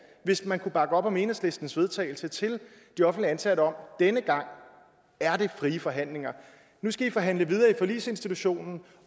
hvis man kunne bakke op om enhedslistens vedtagelse til de offentligt ansatte om at denne gang er det frie forhandlinger nu skal i forhandle videre i forligsinstitutionen